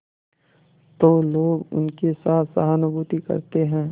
तो लोग उनके साथ सहानुभूति करते हैं